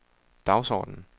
dagsordenen